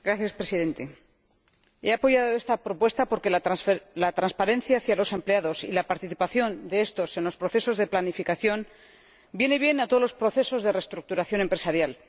Señor Presidente, he apoyado esta propuesta porque la transparencia hacia los empleados y la participación de éstos en los procesos de planificación vienen bien a todos los procesos de reestructuración empresarial.